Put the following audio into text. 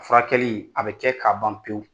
Furakɛli a bɛ kɛ k'a ban pewu